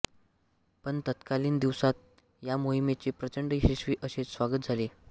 पण तत्कालीन दिवसात या मोहिमेचे प्रचंड यशस्वी अशेच स्वागत झाले